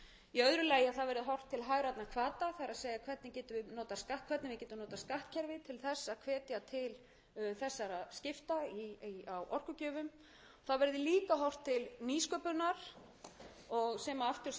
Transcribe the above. hvata það er hvernig við getum notað skattkerfið til þess að hvetja til þessara skipta á orkugjöfum það verður líka horft til nýsköpunar sem aftur síðan skapar störf og starfafjölgunar og þannig þurfum við líka